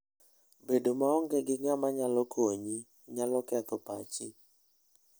Bedo maonge gi ng'ama nyalo konyi, nyalo ketho pachi.